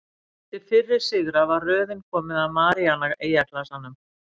Eftir fyrri sigra var röðin komin að Maríana-eyjaklasanum.